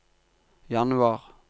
januar